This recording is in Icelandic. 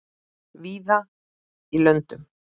víða í löndum